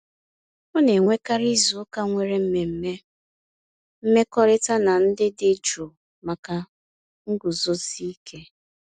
Ọ na-enwekarị izuụka nwere mmemme mmekọrịta na ndị dị jụụ maka nguzozi ike.